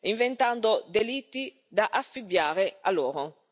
inventando delitti da affibbiare loro.